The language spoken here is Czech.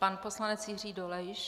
Pan poslanec Jiří Dolejš.